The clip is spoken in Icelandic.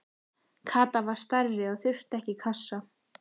Kata var stærri og þurfti ekki kassa.